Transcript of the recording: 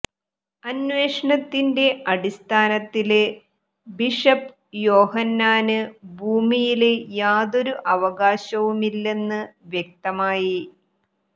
അന്വേഷണത്തിന്റെ അടിസ്ഥാനത്തില് ബിഷപ്പ് യോഹന്നാന് ഭൂമിയില് യാതൊരു അവകാശവുമില്ലെന്ന് വ്യക്തമായി